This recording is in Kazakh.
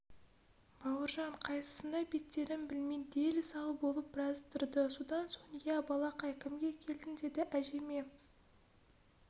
бауыржан қайсысына беттерін білмей дел-сал болып біраз тұрды содан соң ия балақай кімге келдің деді әжеме